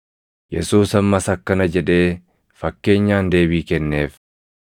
Yesuus ammas akkana jedhee fakkeenyaan deebii kenneef: